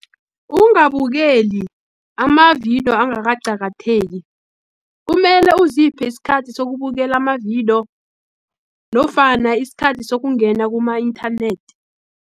Ungabukeli amavidiyo angakaqakatheki, kumele uziphe isikhathi sokubukela amavidiyo, nofana isikhathi sokungena kuma-inthanethi.